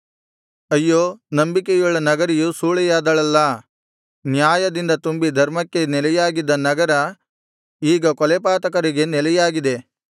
ಅಯ್ಯೋ ನಂಬಿಕೆಯುಳ್ಳ ನಗರಿಯು ಸೂಳೆಯಾದಳಲ್ಲಾ ನ್ಯಾಯದಿಂದ ತುಂಬಿ ಧರ್ಮಕ್ಕೆ ನೆಲೆಯಾಗಿದ್ದ ನಗರ ಈಗ ಕೊಲೆಪಾತಕರಿಗೆ ನೆಲೆಯಾಗಿದೆ